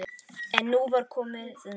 En nú var komið nóg.